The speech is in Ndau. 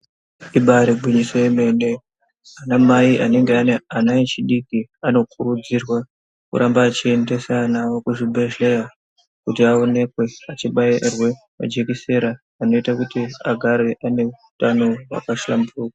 Ibari gwinyiso remene ana mai anenge ane anaechidiki anokurudzirwa kuramba echiendesa anaawo kuzvibhedheya kuti aonekwe achibairwa jekisera rinoita kuti agare aneutano hwakahlamburuka.